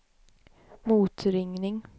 motringning